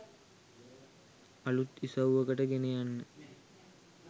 අලුත් ඉසව්වකට ගෙන යන්න